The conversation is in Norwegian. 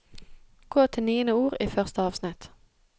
Gå til niende ord i første avsnitt